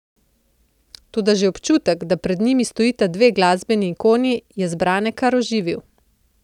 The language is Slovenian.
Toda že občutek, da pred njimi stojita dve glasbeni ikoni, je zbrane kar oživil.